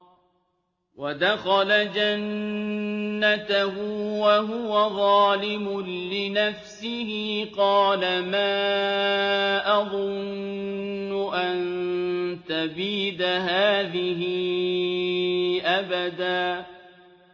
وَدَخَلَ جَنَّتَهُ وَهُوَ ظَالِمٌ لِّنَفْسِهِ قَالَ مَا أَظُنُّ أَن تَبِيدَ هَٰذِهِ أَبَدًا